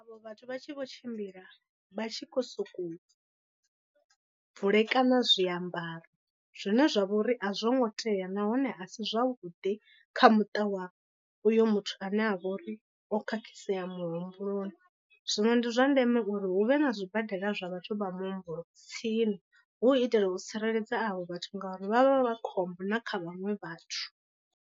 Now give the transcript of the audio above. Avho vhathu vha tshi vho tshimbila vha tshi khou sokou bvulekana zwiambaro zwine zwa vha uri a zwo ngo tea nahone a si zwavhuḓi kha muṱa wa uyo muthu ane a vha uri o khakhisea muhumbuloni. Zwino ndi zwa ndeme uri hu vhe na zwibadela zwa vhathu vha muhumbulo tsini hu u itela u tsireledza avho vhathu ngauri vha vha vha khombo na kha vhaṅwe vhathu.